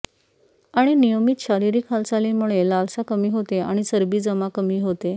आणि नियमित शारीरिक हालचालीमुळे लालसा कमी होते आणि चरबी जमा कमी होते